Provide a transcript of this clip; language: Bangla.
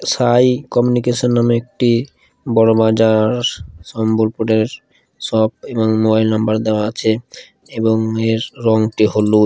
সাই কমিউনিকেশন নামে একটি বড় বাজার সম্বল পুরের শপ এবং মোবাইল নাম্বার দেওয়া আছে এবং এর রঙটি হলুদ।